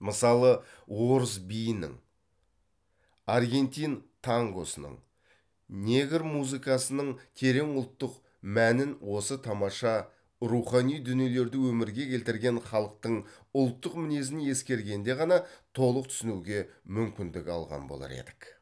мысалы орыс биінің аргентин тангосының негр музыкасының терең ұлттық мәнін осы тамаша рухани дүниелерді өмірге келтірген халықтың ұлттық мінезін ескергенде ғана толық түсінуге мүмкіндік алған болар едік